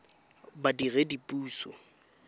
badiredipuso